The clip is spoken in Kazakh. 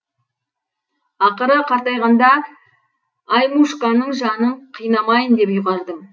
ақыры қартайғанда аймушканың жанын қинамайын деп ұйғардым